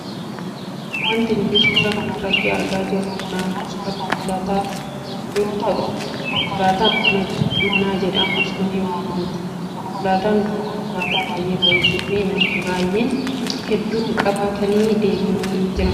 Wanti nuti suuraa kanarratti argaa jirru kun ammoo suuraa konkolaataa yoo taatu konkolaataan kun konkolaataa manaa jedhamuunis ni waammamti. Konkolaataan kun konkolaataa baayyee bareedduufi namoonni qabeenya hedduu qaban qabatanii deemani dha.